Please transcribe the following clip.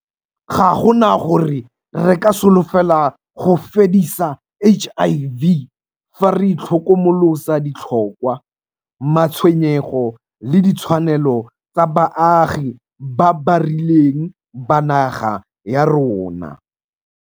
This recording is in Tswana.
Ga gona gore re ka solofela go fedisa HIV fa re itlhokomolosa ditlhokwa, matshwenyego le ditshwanelo tsa baagi ba ba rileng ba naga ya rona.